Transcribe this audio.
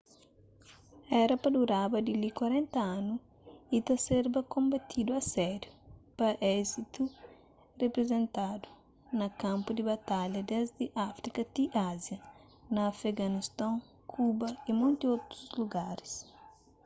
éra pa duraba dili 40 anu y ta serba konbatidu a sériu pa izésitu riprizentatisn na kanpu di batalha desdi áfrika ti ázia na afeganiston kuba y monti otus lugaris